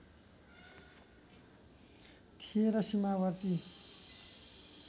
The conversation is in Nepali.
थिए र सीमावर्ती